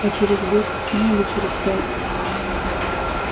а через год ну или через пять